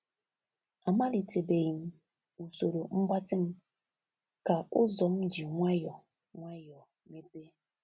Amalite beghi m usoro mgbatị m ka ụzọ m ji nwayọọ nwayọọ mepee